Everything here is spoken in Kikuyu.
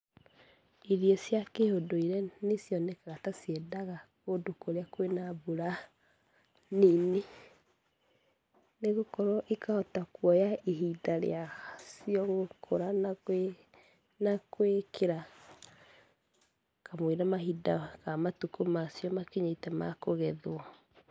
Irio cia kĩũndũire nĩ cionekaga ta ciendaga kũndũ kũrĩa kwĩ na mbura nini. Nĩ gũkorwo ikahota kuoya ihida rĩacio gũkũra na kwĩkĩra kamũira mahinda kana matukũ macio makinyĩte makũgethwo.